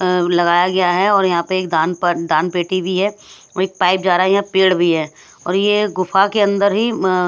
लगाया गया है और यहाँ पर एक दान पेटी भी है एक पाइप जा रहा है यहाँ पेड़ भी है और ये गुफा के अंदर ही--